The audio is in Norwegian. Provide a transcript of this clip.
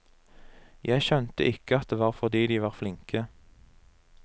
Jeg skjønte ikke at det var fordi de var flinke.